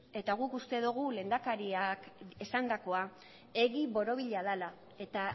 eta guk uste dogu lehendakariak esandakoa egi borobila dala eta